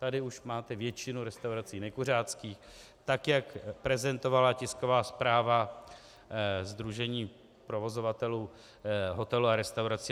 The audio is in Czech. Tady už máte většinu restaurací nekuřáckých, tak jak prezentovala tisková zpráva sdružení provozovatelů hotelů a restaurací.